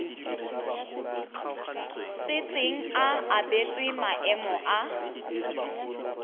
setseng a abetswe maemo a